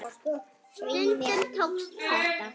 Stundum tókst þetta.